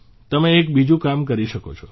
તમે એક બીજું કામ કરી શકો છો